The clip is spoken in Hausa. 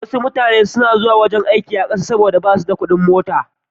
Wasu mutanen na zuwa wurin aiki a ƙasa saboda ba su da kuɗin mota.